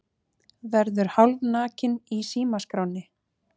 Verður hálfnakinn í símaskránni